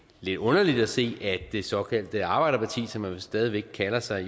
lidt underligt at se at det såkaldte arbejderparti som de vist stadig væk kalder sig